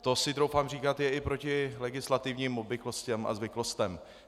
To si troufám říct, je i proti legislativním obvyklostem a zvyklostem.